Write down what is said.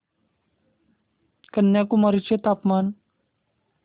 कन्याकुमारी चे तापमान